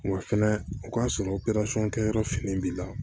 Wa fɛnɛ o k'a sɔrɔ kɛyɔrɔ fini b'i la